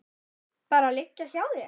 Bara liggja hjá þér.